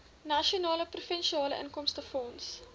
nasionale provinsiale inkomstefonds